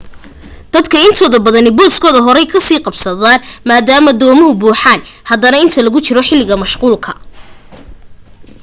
dadka intooda badani booskooda horey ka sii qabsadaan maadaama doomuhu buuxaan badanaa inta lagu jiro xilliga mashquulka